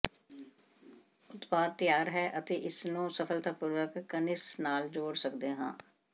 ਉਤਪਾਦ ਤਿਆਰ ਹੈ ਅਤੇ ਅਸੀਂ ਇਸਨੂੰ ਸਫਲਤਾਪੂਰਵਕ ਕਨੋਿਸ ਨਾਲ ਜੋੜ ਸਕਦੇ ਹਾਂ